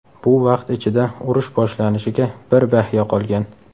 Bu vaqt ichida urush boshlanishiga bir bahya qolgan.